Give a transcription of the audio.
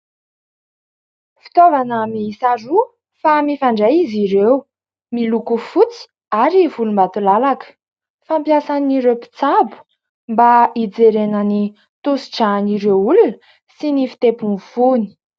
Fitaovana miisa roa fa mifandray izy ireo, miloko fotsy ary volombatolalaka. Fampiasan'ireo mpitsabo mba hijerena ny tosidran'ireo olona sy ny fitepon'ny fony.